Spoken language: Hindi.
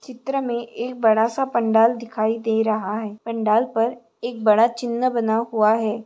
चित्र मे एक बड़ा-सा पंडाल दिखाई दे रहा है पंडाल पर एक बड़ा चिन्ह बना हुआ है।